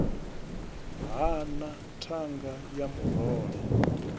ha na thanga ya murole